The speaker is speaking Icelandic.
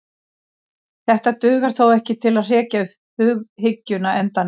Þetta dugar þó ekki til að hrekja hughyggjuna endanlega.